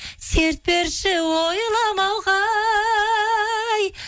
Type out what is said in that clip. серт берші ойламауға ай